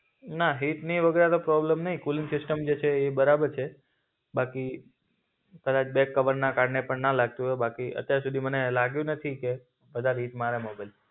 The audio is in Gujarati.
ના હિતની વગેરની પ્રોબ્લમ નઈ, કૂલિંગ સિસ્ટમ જે છે એ બરાબર છે. બાકી થોડાક બેક કવરના કારણે પણ ન લાગતું હોય બાકી અત્યાર સુધી મને લાગ્યું નથી કે વધારે હિટ મારે મોબાઈલ